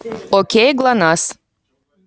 к кому пришла красавица